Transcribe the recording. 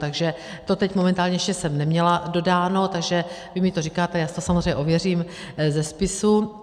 Takže to teď momentálně ještě jsem neměla dodáno, takže vy mi to říkáte, já si to samozřejmě ověřím ze spisu.